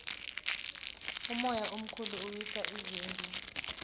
umoya omkhulu uwisa izindlu